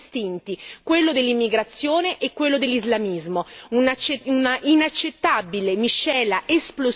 un'inaccettabile miscela esplosiva che potrebbe mettere a repentaglio la sicurezza dei nostri cittadini.